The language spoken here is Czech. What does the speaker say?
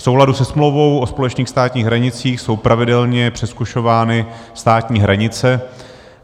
V souladu se smlouvou o společných státních hranicích jsou pravidelně přezkušovány státní hranice.